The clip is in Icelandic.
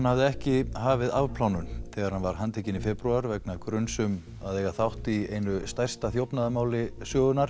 hafði ekki hafið afplánun þegar hann var handtekinn í febrúar vegna gruns um þátt í einu stærsta þjófnaðarmáli